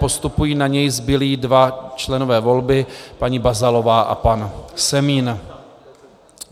Postupují na něj zbylí dva členové volby, paní Bazalová a pan Semín.